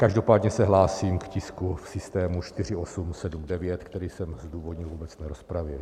Každopádně se hlásím k tisku v systému 4879, který jsem zdůvodnil v obecné rozpravě.